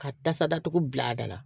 Ka tasa datugu bila a da la